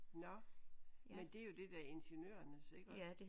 Nåh men det er jo det der ingeniørernes iggå